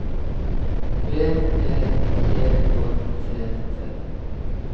B E G Å T T